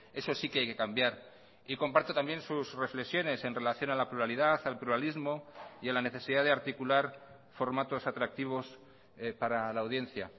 eso sí que hay que cambiar y comparto también sus reflexiones en relación a la pluralidad al pluralismo y a la necesidad de articular formatos atractivos para la audiencia